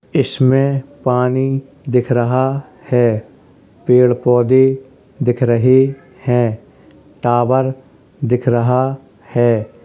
इसमें पानी दिख रहा है पेड़ पौधे दिख रहे है टावर दिख रहा है।